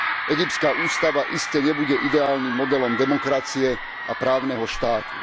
Egyptská ústava iste nebude ideálnym modelom demokracie a právneho štátu.